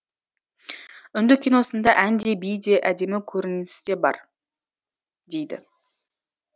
үнді киносында ән де би де әдемі көріністе бар дейді